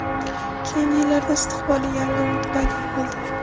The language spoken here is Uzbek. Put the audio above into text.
Keyingi yillarda istiqbolli yangi umid paydo bo‘ldi.